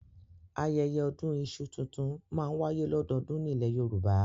Ayẹyẹ ọdún iṣu tuntun máa n waye lododun ni ile Yoruba